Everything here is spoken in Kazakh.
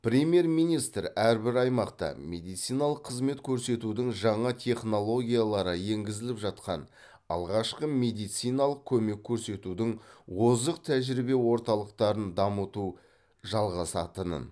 премьер министр әрбір аймақта медициналық қызмет көрсетудің жаңа технологиялары енгізіліп жатқан алғашқы медициналық көмек көрсетудің озық тәжірибе орталықтарын дамыту жалғасатынын